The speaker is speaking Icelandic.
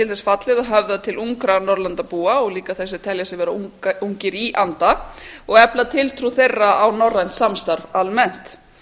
þess fallið að höfða til ungra norðurlandabúa og líka þeirra sem telja sig vera ungir í anda og efla tiltrú þeirra á norrænt samstarf almennt